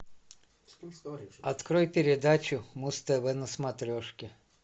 открой передачу муз тв на смотрежке